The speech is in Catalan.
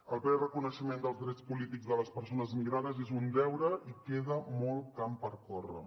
el ple reconeixement dels drets polítics de les persones migrades és un deure i queda molt camp per córrer